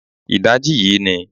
Ìdajì yìí ni